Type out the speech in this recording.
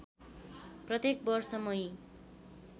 प्रत्येक वर्ष मई